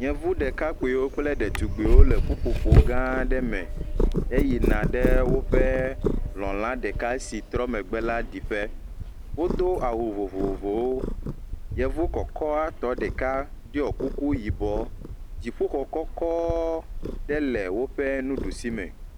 yevu ɖekakpi kple ɖetugbiwo le ƒuƒoƒo gã ɖe me he yina ɖe wóƒe lɔ̃la ɖeka si trɔ megbe la ɖìƒe wó dó awu. vovovowo yevu kɔkɔtɔ ɖiɔ kuku yibɔ dziƒoxɔ gã ɖe le wóƒe ɖusi me